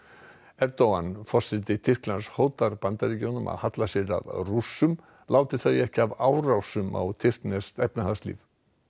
Erdogan forseti Tyrklands hótar Bandaríkjunum að halla sér að Rússum láti þau ekki af árásum á tyrkneskt efnahagslíf